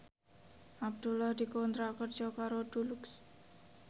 Abdullah dikontrak kerja karo Dulux